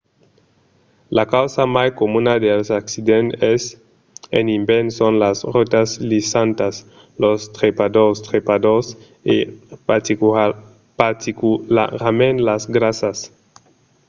la causa mai comuna dels accidents en ivèrn son las rotas lisantas los trepadors trepadors e particularament las grasas